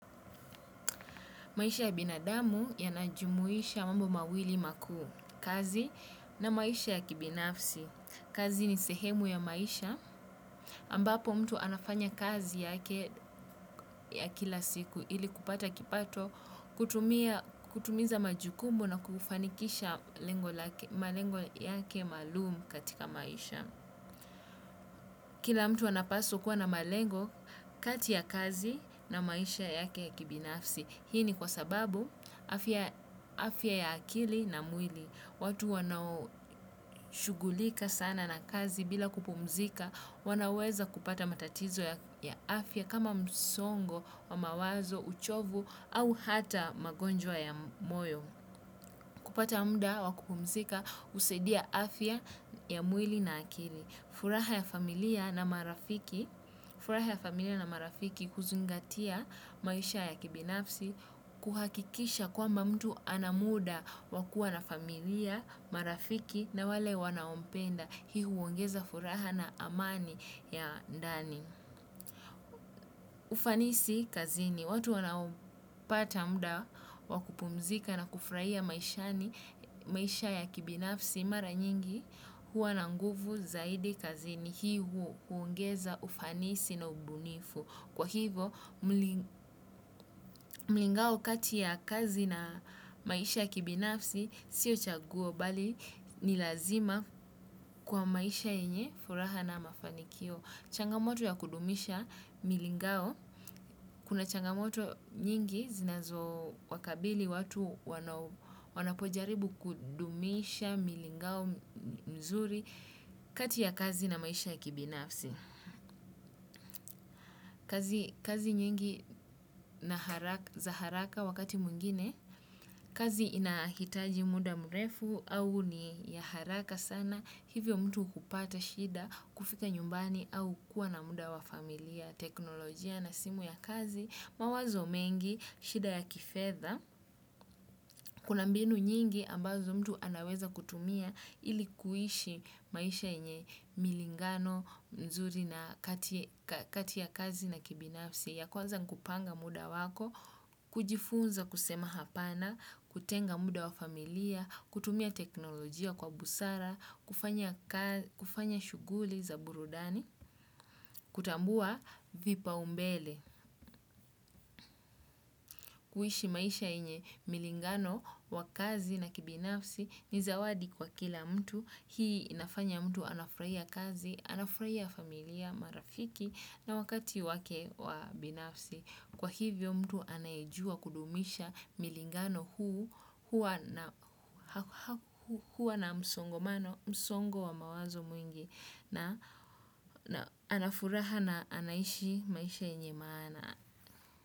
Maisha ya binadamu yanajumuisha mambo mawili makuu kazi na maisha ya kibinafsi. Kazi ni sehemu ya maisha ambapo mtu anafanya kazi yake ya kila siku ili kupata kipato kutimiza majukumu na kufanikisha malengo yake maalum katika maisha. Kila mtu anapaswa kuwa na malengo kati ya kazi na maisha yake ya kibinafsi. Hii ni kwa sababu afya ya akili na mwili. Watu wanao shugulika sana na kazi bila kupumzika wanaweza kupata matatizo ya afya kama msongo wa mawazo, uchovu au hata magonjwa ya moyo. Kupata muda wa kupumzika husadia afya ya mwili na akili. Furaha ya familia na marafiki huzingatia maisha ya kibinafsi kuhakikisha kwamba mtu ana muda wa kua na familia, marafiki na wale wanaompenda. Hii huongeza furaha na amani ya ndani. Ufanisi kazini. Watu wanaupata muda wa kupumzika na kufurahia maisha ya kibinafsi mara nyingi huwa na nguvu zaidi kazini hiu huongeza ufanisi na ubunifu. Kwa hivo, mlingao kati ya kazi na maisha ya kibinafsi sio chaguo bali ni lazima kwa maisha yenye furaha na mafanikio. Changamoto ya kudumisha milingao. Kuna changamoto nyingi zinazo wakabili watu wanapojaribu kudumisha milingao mzuri kati ya kazi na maisha ya kibinafsi. Kazi nyingi za haraka wakati mwingine kazi inahitaji muda mrefu au ni ya haraka sana. Hivyo mtu hupata shida, kufika nyumbani au kuwa na muda wa familia, teknolojia na simu ya kazi, mawazo mengi, shida ya kifedha, kuna mbinu nyingi ambazo mtu anaweza kutumia ili kuishi maisha yenye milingano, nzuri na kati ya kazi na kibinafsi. Ya kwaza ni kupanga muda wako, kujifunza kusema hapana, kutenga muda wa familia, kutumia teknolojia kwa busara, kufanya shughuli za burudani, kutambua vipa ombele, kuishi maisha yenye milingano wa kazi na kibinafsi ni zawadi kwa kila mtu. Hii inafanya mtu anafurahia kazi, anafurahia familia marafiki na wakati wake wa binafsi. Kwa hivyo mtu anaejua kudumisha milingano huu huwa na msongo wa mawazo mwingi na ana furaha na anaishi maisha yenye maana.